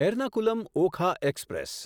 Ernakulam Okha express